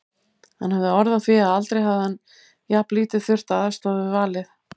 Hann hafði orð á því að aldrei hefði hann jafnlítið þurft að aðstoða við valið.